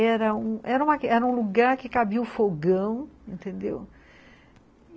Era um era um lugar que cabia o fogão, entendeu?